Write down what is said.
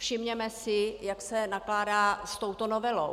Všimněme si, jak se nakládá s touto novelou.